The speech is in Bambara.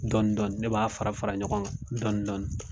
Dɔnidɔni ne b'a fara fara ɲɔgɔn kan dɔnidɔni